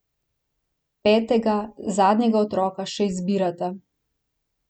Petega, zadnjega otroka še izbirata.